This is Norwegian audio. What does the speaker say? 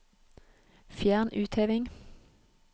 Fjern utheving